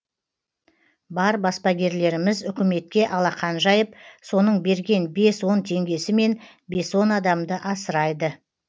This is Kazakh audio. бар баспагерлеріміз үкіметке алақан жайып соның берген бес он теңгесімен бес он адамды асырайды